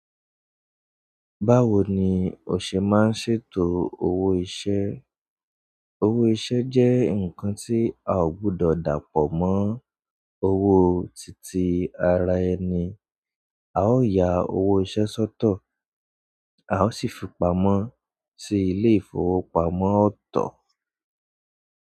Báwo ni o ṣe máa ń ṣètò owó iṣẹ́? Owó iṣẹ́ jẹ́ nǹkan tí a ò gbọdọ̀ dàpọ̀ mọ́ owó títí ara ẹni. A ó ya owó iṣẹ́ sọ́tọ̀, a ó sì fi pamọ́ sí ilé ìfowópamọ́ ọ̀tọ̀.